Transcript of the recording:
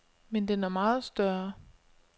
Men den er meget større.